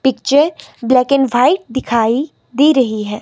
Picture black and white दिखाई दे रही है।